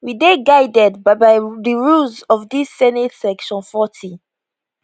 we dey guided by by di rules of dis senate section 40